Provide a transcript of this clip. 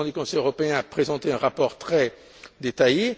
Le président du Conseil européen a présenté un rapport très détaillé.